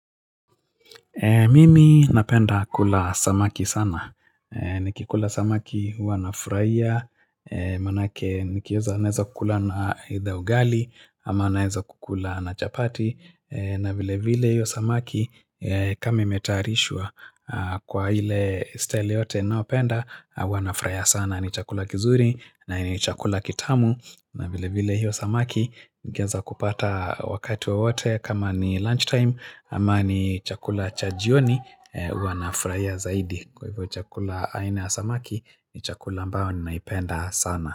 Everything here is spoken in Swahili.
Mimi napenda kula samaki sana, e nikikula samaki huwa nafuraia, e manake nikieza naeza kula na either ugali, ama naeza kukula na chapati e na vile vile hiyo samaki, e kama imetaarishwa, a kwa ile style yote naopenda, a huwa nafuraia sana ni chakula kizuri, na ni chakula kitamu na vile vile hiyo samaki, ngeza kupata wakati wowote kama ni lunch-time, ama ni chakula cha jioni Huwa nafuraia zaidi. Kwa hivyo chakula aina ya samaki, ni chakula ambao nnaipenda sana.